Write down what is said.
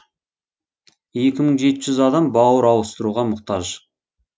екі мың жеті жүз адам бауыр ауыстыруға мұқтаж